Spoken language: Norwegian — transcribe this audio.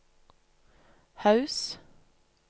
Haus